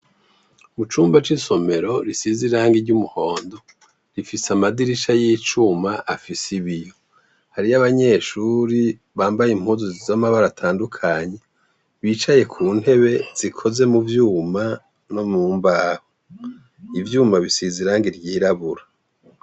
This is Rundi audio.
Mucumba c' isomero risize irangi ry' umuhondo , ifise amadirisha y' icuma afise ibiyo, hariyo abanyeshure bambaye impuzu z' amabara atandukanye bicaye kuntebe zikoze muvyuma no mu mbaho, ivyuma bisize irangi ryirabura.